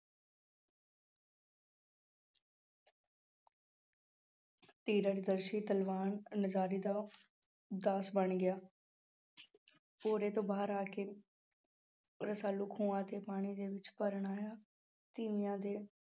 ਦਾ ਦਾਸ ਬਣ ਗਿਆ ਭੋਰੇ ਤੋਂ ਬਾਹਰ ਆ ਕੇ ਰਸਾਲੂ ਖੂਹਾਂ ਤੇ ਪਾਣੀ ਦੇ ਵਿੱਚ ਭਰਨ ਆਇਆ ਤੀਵੀਆਂ ਦੇ